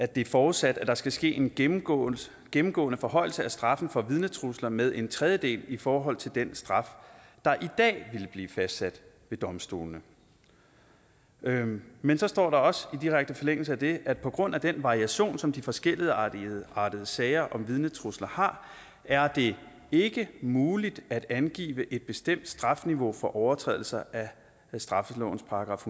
det er forudsat at der skal ske en gennemgående gennemgående forhøjelse af straffen for vidnetrusler med en tredjedel i forhold til den straf der i dag ville blive fastsat ved domstolene men men så står der også i direkte forlængelse af det at på grund af den variation som de forskelligartede sager om vidnetrusler har er det ikke muligt at angive et bestemt strafniveau for overtrædelser af straffelovens §